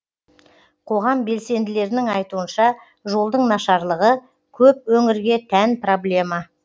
қоғам белсенділерінің айтуынша жолдың нашарлығы көп өңірге тән проблема